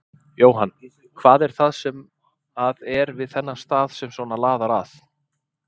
Jóhann: Hvað er það sem að er við þennan stað sem að svona laðar að?